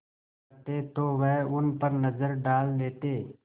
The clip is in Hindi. करते तो वह उन पर नज़र डाल लेते